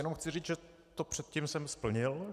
Jenom chci říct, že to předtím jsem splnil.